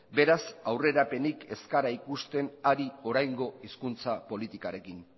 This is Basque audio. beraz aurrerapenik ez gara ikusten ari oraingo hizkuntza politikarekin